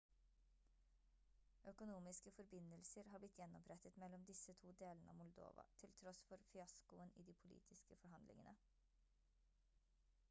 økonomiske forbindelser har blitt gjenopprettet mellom disse to delene av moldova til tross for fiaskoen i de politiske forhandlingene